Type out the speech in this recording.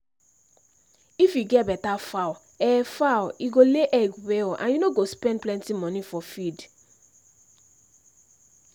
if you get better fowl e fowl e go lay egg well and you no go spend plenty money for feed.